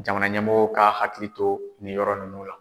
Jamana ɲɛmɔgɔw ka hakili to nin yɔrɔ ninnu la.